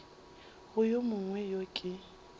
go yo mongwe yo ke